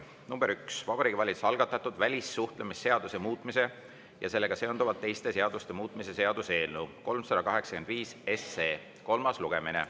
nr 1: Vabariigi Valitsuse algatatud välissuhtlemisseaduse muutmise ja sellega seonduvalt teiste seaduste muutmise seaduse eelnõu 385 kolmas lugemine.